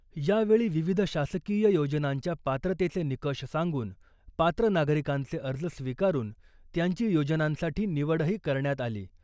यावेळी विविध शासकीय योजनांच्या पात्रतेचे निकष सांगून , पात्र नागरिकांचे अर्ज स्विकारून त्यांची योजनांसाठी निवडही करण्यात आली .